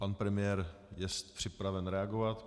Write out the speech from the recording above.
Pan premiér je připraven reagovat.